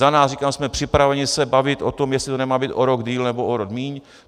Za nás říkám, jsme připraveni se bavit o tom, jestli to nemá být o rok déle, nebo o rok míň.